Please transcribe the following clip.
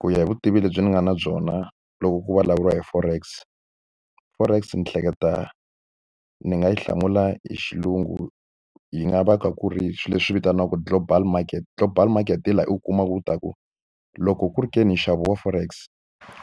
Ku ya hi vutivi lebyi ni nga na byona loko ku vulavuriwa hi forex forex ni hleketa ni nga yi hlamula hi xilungu yi nga va ku kha ku ri swilo leswi vitaniwaka global market global market hi laha u kumaka ku ta ku loko ku ri ka nxavo wa forex